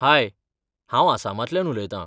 हाय! हांव आसामांतल्यान उलयतां.